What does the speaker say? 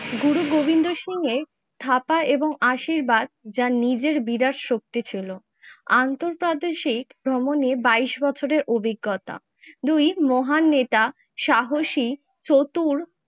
গুরু গোবিন্দ সিং এর থাকা এবং আশীর্বাদ যার নিজের বিরাট শক্তি ছিল। আন্তঃপ্রাদেশিক ভ্রমণে বাইশ বছরের অভিজ্ঞতা, দুই মহান নেতা সাহসী চতুর